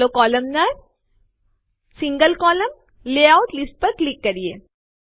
ચાલો કોલમનાર single column layout list ઉપર ક્લિક કરીએ